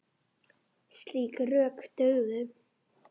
Slík rök dugðu.